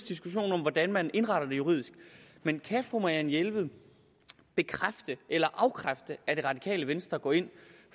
diskussion om hvordan man indretter det juridisk men kan fru marianne jelved bekræfte eller afkræfte at det radikale venstre går ind